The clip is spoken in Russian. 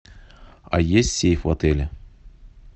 а есть сейф в отеле